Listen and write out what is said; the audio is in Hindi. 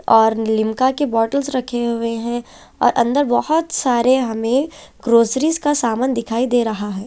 और लीमका के बोटल्स रखे हुए हें और अन्दर बोहोत सारे हमें ग्रोसरिस के सामान दिख रहा हें।